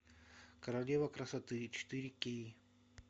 королева красоты четыре кей